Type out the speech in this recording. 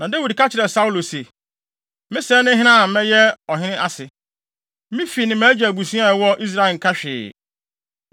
Na Dawid ka kyerɛɛ Saulo se, “Me sɛɛ ne hena a mɛyɛ ɔhene ase? Me fi ne mʼagya abusua a ɛwɔ Israel nka hwee?”